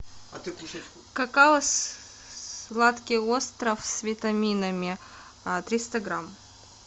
какао сладкий остров с витаминами триста грамм